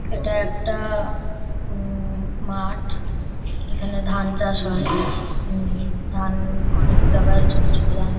এটা একটা উম মাঠ। এখানে ধান চাষ হয় উম ধান অনেক জাগায় ছোট ছোট ধান --